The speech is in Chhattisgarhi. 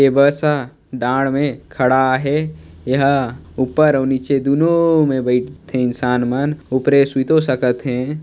ए बस हा दाड़ मे खड़ा हे यहाँ ऊपर अऊ नीचे दूनों मे बाईठ थे इंसान मन उपरो सुतो सकत हे ।